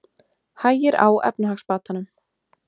Hægir á efnahagsbatanum